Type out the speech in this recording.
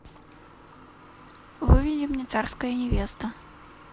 выведи мне царская невеста